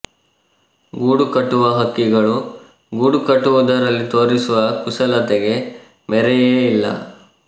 ಗೂಡು ಕಟ್ಟುವ ಹಕ್ಕಿಗಳು ಗೂಡು ಕಟ್ಟುವುದರಲ್ಲಿ ತೋರಿಸುವ ಕುಶಲತೆಗೆ ಮೇರೆಯೇ ಇಲ್ಲ